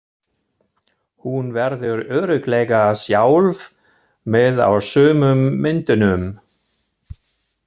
Hún verður örugglega sjálf með á sumum myndunum.